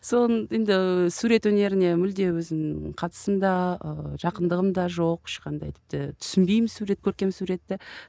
соны енді сурет өнеріне мүлде өзім қатысым да ыыы жақындығым да жоқ ешқандай тіпті түсінбеймін сурет көркем суретті